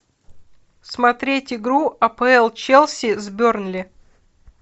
смотреть игру апл челси с бернли